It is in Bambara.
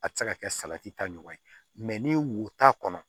A tɛ se ka kɛ salati ta ɲɔgɔn ye ni wo t'a kɔnɔ